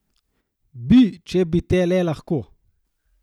Bi, če bi te le lahko.